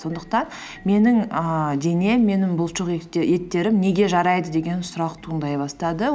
сондықтан менің ііі денем менің неге жарайды деген сұрақ туындай бастады